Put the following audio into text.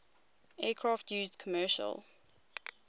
aircraft used commercial